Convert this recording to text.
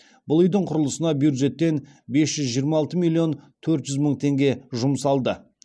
бұл үйдің құрылысына бюджеттен бес жүз жиырма алты миллион төрт жүз мың теңге жұмсалды